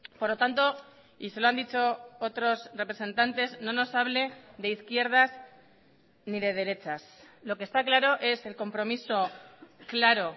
por lo tanto y se lo han dicho otros representantes no nos hable de izquierdas ni de derechas lo que está claro es el compromiso claro